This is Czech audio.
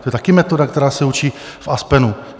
To je také metoda, která se učí v Aspenu.